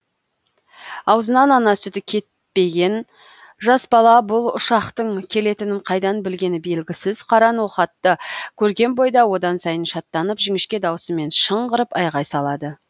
аузынан ана сүті кетпеген жас бала бұл ұшақтың келетінін қайдан білгені белгісіз қара ноқатты көрген бойда одан сайын шаттанып жіңішке дауысымен шыңғырып айғай салады